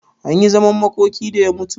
Anyi zaman makoki da ya mutu?